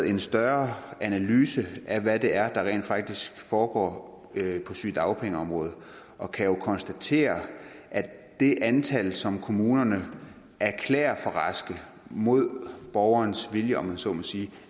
en større analyse af hvad det er der rent faktisk foregår på sygedagpengeområdet og kan konstatere at det antal som kommunerne erklærer for raske mod borgerens vilje om man så må sige